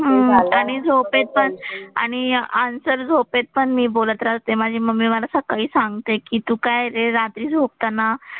हम्म आणि झोपेत पण आणि आन्सर झोपेत पण मी बोलत राहते माझी मम्मी मला सकाळी सांगते कि तू काय हे रात्री झोपताना,